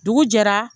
Dugu jɛra